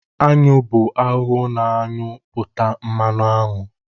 aṅụ bụ ahụhụ na-aṅụ pụta mmanụ aṅụ